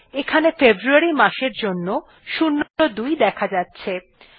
এখানে ফেব্রুয়ারী মাসের জন্য ০২ দেখা যাচ্ছে